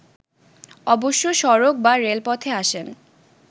অবশ্য সড়ক বা রেলপথে আসেন